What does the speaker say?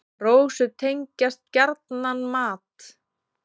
Rósu tengjast gjarnan mat.